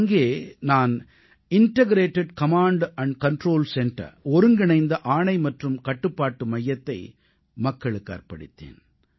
அங்கே நான் integrated command control centre ஒருங்கிணைந்த ஆணை மற்றும் கட்டுப்பாட்டு மையத்தை மக்களுக்கு அர்ப்பணித்தேன்